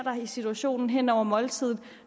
i situationen hen over måltidet